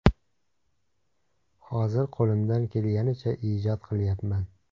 Hozir qo‘limdan kelganicha ijod qilyapman.